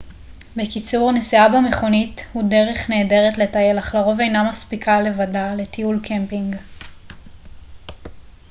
בקיצור נסיעה במכונית הוא דרך נהדרת לטייל אך לרוב אינה מספיקה לבדה לטיול קמפינג